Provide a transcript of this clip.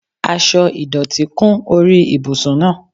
Aṣọ ìdọ̀tí kún orí ibùsùn náà.